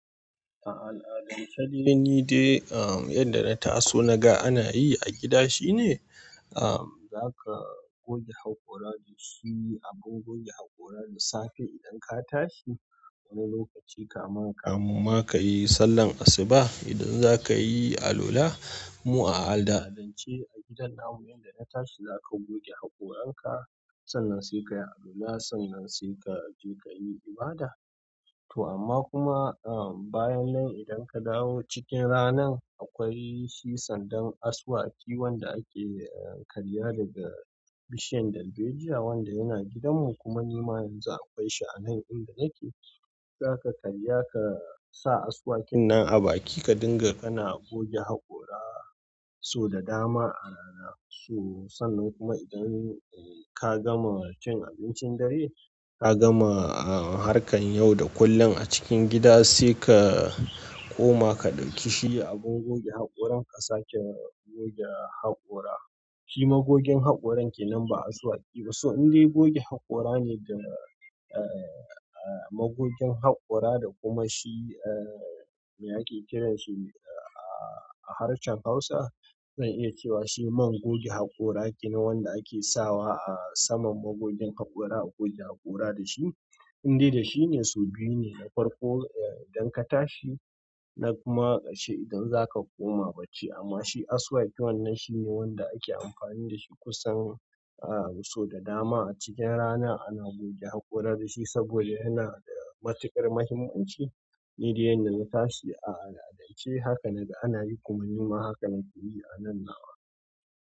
A al'adance dai, ni dai yadda na taso na ga ana yi a gida shine, za ka goge haƙora da shi, abun goge haƙora da safe idan ka tashi. Wani lokaci ka ma, ka mun ma ka yi sallar asuba. Idan za ka yi alwala, mu a al'adance a gidan na mu, inda na tashi za ka goge haƙoran ka, sannan sai ka yi alwala, sannan sai ka je ka yi ibada. To amma kuma, bayan nan idan ka dawo cikin rana, akwai shi sandan asuwaki wanda ake karya daga bishiyar dalbejiya wanda yana gidan mu kuma ni ma yanzu akwai shi a nan inda nake. Za ka karya ka sa asuwakin nan a baki ka dinga kana goge haƙora so da dama ana so. Sannan kuma idan ka gama cin abincin dare, ka gama harkan yau da kullum a cikin gida, sai ka koma ka ɗauki shi abun goge haƙoran ka sake goge haƙora. Shi ma gogin haƙoran ke nan ba asuwaki ba. So indai goge haƙora ne da, eh magogin haƙora da kuma shi me ake kiran shi a harshen hausa zan iya ce shi man goge haƙora kenan wanda ake sawa a saman mogogin haƙora a goge haƙora dashi. Indai da shi ne sau biyu ne na farko idan ka tashi na kuma ƙarshe idan za ka koma bacci. Amma shi asuwaki wannan shi ne wanda ake amfani da shi kusan a so da dama a cikin rana ana goge haƙora da shi saboda yana da matuƙar muhimmanci. Ni dai yanda na tashi a al'adance haka na ga ana yi kuma ni ma haka na yi a nan na wa.